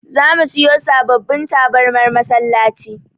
Zamu siyo sababbin tabarmar masallaci.